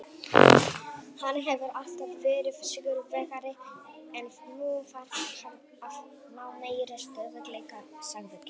Hann hefur alltaf verið sigurvegari en nú þarf hann að ná meiri stöðugleika, sagði Giggs.